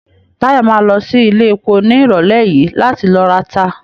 Táyọ̀ ma lọ sí iléepo ní ìrọ̀lẹ́ yìí láti ló rata